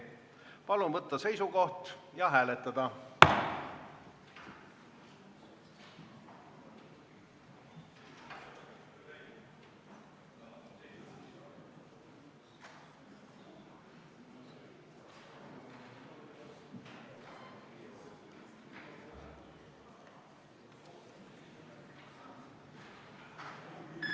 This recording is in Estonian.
Palun võtta seisukoht ja hääletada!